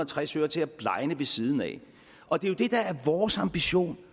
tres øre til at blegne ved siden af det der er vores ambition